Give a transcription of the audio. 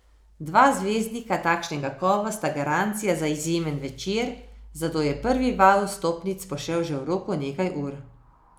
Dva zvezdnika takšnega kova sta garancija za izjemen večer, zato je prvi val vstopnic pošel že v roku nekaj ur.